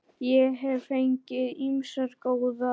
Ég hef fengið ýmsar góðar.